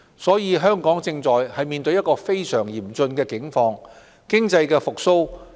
所以，香港正在面對非常嚴峻的境況。